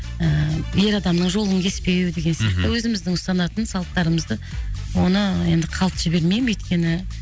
ііі ер адамның жолын кеспеу деген сияқты өзіміздің ұстанатын салттарымызды оны енді қалт жібермеймін өйткені